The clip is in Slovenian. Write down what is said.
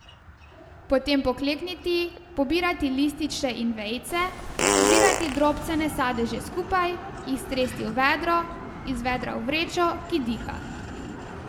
Potem poklekniti, pobirati lističe in vejice, zbrati drobcene sadeže skupaj, jih stresti v vedro, iz vedra v vrečo, ki diha.